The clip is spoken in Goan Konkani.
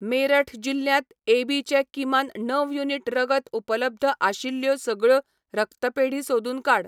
मेरठ जिल्ल्यांत ए बी चे किमान णव युनिट रगत उपलब्ध आशिल्ल्यो सगळ्यो रक्तपेढी सोदून काड.